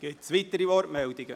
Gibt es weitere Wortmeldungen?